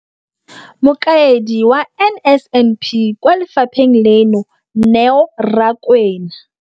Mokaedi wa NSNP kwa lefapheng leno, Neo Rakwena,